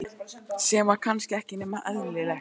Sem var kannski ekki nema eðlilegt.